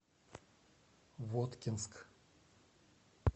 воткинск